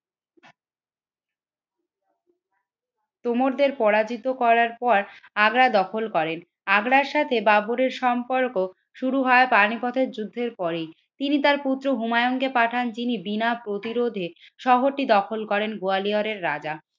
তোমরদের পরাজিত করার পর আগা দখল করেন। আগ্রার সাথে বাবরের সম্পর্ক শুরু হয় পানিপথের যুদ্ধের পরেই তিনি তার পুত্র হুমায়ুন কে পাঠান যিনি বিনা প্রতিরোধে শহর দখল করেন। গোয়ালিয়রের রাজা